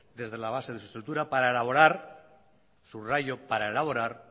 desde la base de su estructura para elaborar subrayo para elaborar